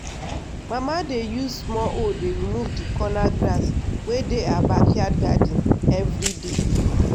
mama dey use small hoe dey remove the corner grass wey dey her backyard garden every day.